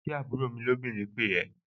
Ṣé àbúrò mi lóbìnrin pè ẹ́?